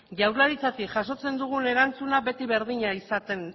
jaurlaritzatik jasotzen dugun erantzuna beti berdina